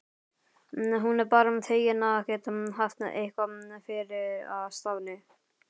Hún er bara fegin að geta haft eitthvað fyrir stafni.